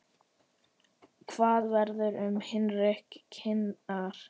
Hvað verður um hyrndu kýrnar?